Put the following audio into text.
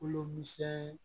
Kolo misɛni